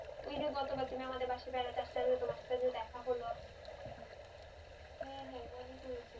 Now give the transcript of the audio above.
ওই যে গত কাল আমাদের বাসাই বাড়াতে আসছিলা তোমার সাথে দেখা হলো হ্যাঁ হ্যাঁ মনে পড়েছে